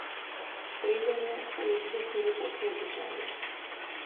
Streljanje pa je izbruhnilo po vsej deželi.